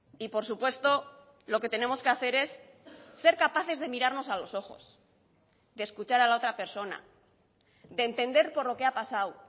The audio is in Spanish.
y por supuesto lo que tenemos que hacer es ser capaces de mirarnos a los ojos de escuchar a la otra persona de entender por lo que ha pasado